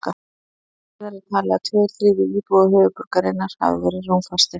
Fimm dögum síðar er talið að tveir þriðju íbúa höfuðborgarinnar hafi verið rúmfastir.